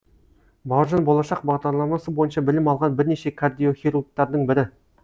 бауыржан болашақ бағдарламасы бойынша білім алған бірнеше кардиохирургтардың бірі